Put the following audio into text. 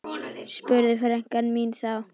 spurði frænka mín þá.